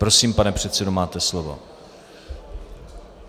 Prosím, pane předsedo, máte slovo.